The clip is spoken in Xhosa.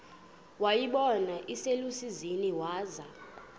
wayibona iselusizini waza